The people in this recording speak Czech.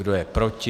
Kdo je proti?